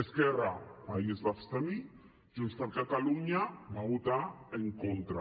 esquerra ahir es va abstenir junts per catalunya hi va votar en contra